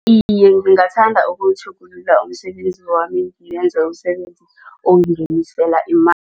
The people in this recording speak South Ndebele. Iye, ngingathanda ukutjhugulula umsebenzi wami ngenze umsebenzi ongingenisela